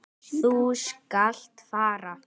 Þú skalt fara.